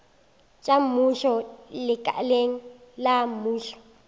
tša mmušo lekaleng la mmušo